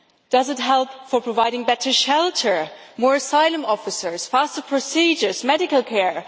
Does it help provide better shelter, more asylum officers, faster procedures, medical care?